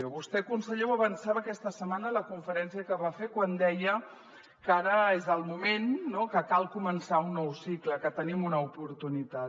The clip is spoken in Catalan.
vostè conseller ho avançava aquesta setmana en la conferència que va fer quan deia que ara és el moment no que cal començar un nou cicle que tenim una oportunitat